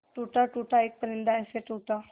टूटा टूटा एक परिंदा ऐसे टूटा